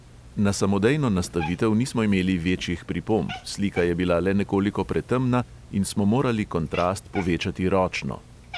Na samodejno nastavitev nismo imeli večjih pripomb, slika je bila le nekoliko pretemna in smo morali kontrast povečati ročno.